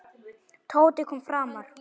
Tóti kom framar.